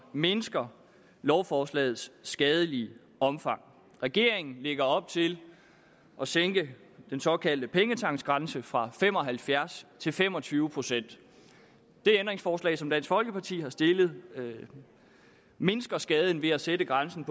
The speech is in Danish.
mindsker lovforslagets skadelige omfang regeringen lægger op til at sænke den såkaldte pengetanksgrænse fra fem og halvfjerds til fem og tyve procent det ændringsforslag som dansk folkeparti har stillet mindsker skaden ved at sætte grænsen